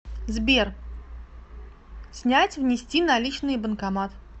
сбер снять внести наличные банкомат